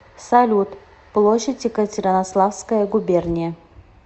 салют площадь екатеринославская губерния